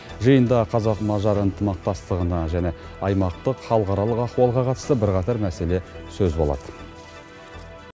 жиында қазақ мажар ынтымақтастығына және аймақтық халықаралық ахуалға қатысты бірқатар мәселе сөз болады